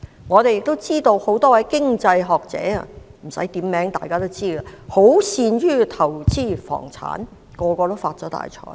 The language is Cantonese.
我們也知道，很多位經濟學者——不用點名，大家也知道——均擅於投資房產，全部已發了大財。